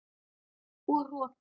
Og rokin.